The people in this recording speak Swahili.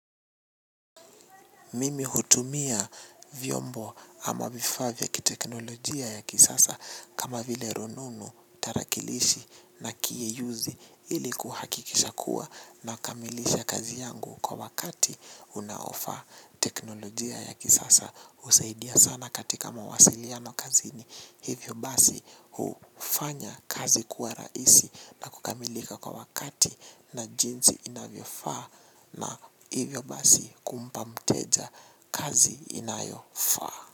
Mimi hutumia vyombo ama vifaa vya ki teknolojia ya kisasa kama vile rununu tarakilishi na kieyuzi ili kuhakikisha kuwa na kamilisha kazi yangu kwa wakati unaofaa teknolojia ya kisasa. Husaidia sana katika mawasiliano kazi ni hivyo basi hufanya kazi kuwa raisi na kukamilika kwa wakati na jinsi inavyofaa na hivyo basi kumpa mteja kazi inayofaa.